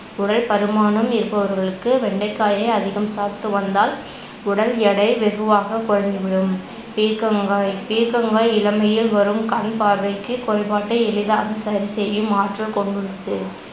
உடல்பருமானம் இருப்பவர்களுக்கு வெண்டைக்காயை அதிகம் சாப்பிட்டு வந்தால் உடல் எடை வெகுவாக குறைந்துவிடும். பீர்க்கங்காய் பீர்க்கங்காய் இளமையில் வரும் கண்பார்வைக்குக் குறைபாட்டை எளிதாக சரிசெய்யும் ஆற்றல் கொண்டுள்ளது